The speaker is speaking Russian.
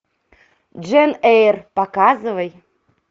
джейн эйр показывай